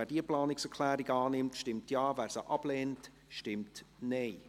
Wer diese Planungserklärung annimmt, stimmt Ja, wer diese ablehnt, stimmt Nein.